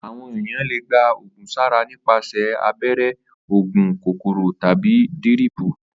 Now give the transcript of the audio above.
Àwò̩n èèyàn le gba ògùn sára nípasè̩ abé̩ré̩, ògùn kóró, tàbí díríìpù